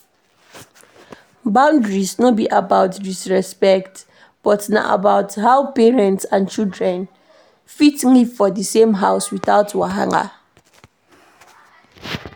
Boundaries no be about disrespect but na about how parents and children fit live for the same house without wahala